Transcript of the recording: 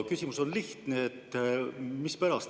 Küsimus on lihtne: mispärast?